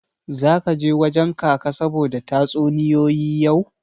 Zaka je wajen Kaka saboda tatsuniyoyi yau?